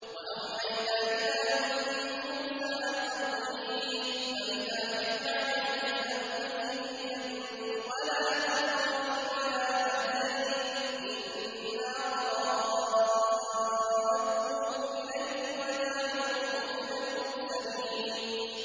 وَأَوْحَيْنَا إِلَىٰ أُمِّ مُوسَىٰ أَنْ أَرْضِعِيهِ ۖ فَإِذَا خِفْتِ عَلَيْهِ فَأَلْقِيهِ فِي الْيَمِّ وَلَا تَخَافِي وَلَا تَحْزَنِي ۖ إِنَّا رَادُّوهُ إِلَيْكِ وَجَاعِلُوهُ مِنَ الْمُرْسَلِينَ